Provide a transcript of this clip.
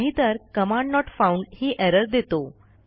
नाहीतर command not found ही error देतो